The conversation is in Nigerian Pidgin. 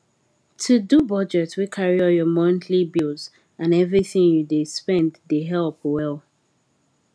to do budget wey carry all your monthly bills and everything you dey spend dey help well